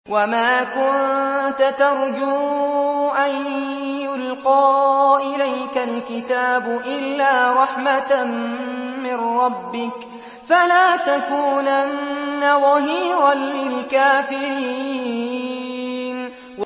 وَمَا كُنتَ تَرْجُو أَن يُلْقَىٰ إِلَيْكَ الْكِتَابُ إِلَّا رَحْمَةً مِّن رَّبِّكَ ۖ فَلَا تَكُونَنَّ ظَهِيرًا لِّلْكَافِرِينَ